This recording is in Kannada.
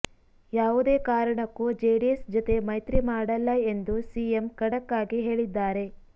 ಯಾವುದೇ ಕಾರಣಕ್ಕೂ ಜೆಡಿಎಸ್ ಜತೆ ಮೈತ್ರಿ ಮಾಡಲ್ಲ ಎಂದು ಸಿಎಂ ಖಡಕ್ ಆಗಿ ಹೇಳಿದ್ದಾರೆ